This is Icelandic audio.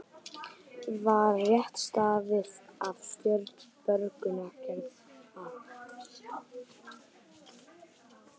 Var rétt staðið að stjórn björgunaraðgerða